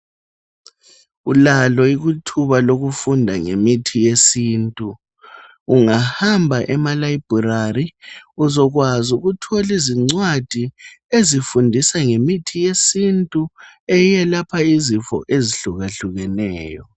Ulalo ithuba lokufunda ngemithi yesintu. Ungahamba ema-library uzokwazi ukuthola izicwadi ezifundisa ngemithi yesintu eyelapha izifo ezihlukahlukeneyo.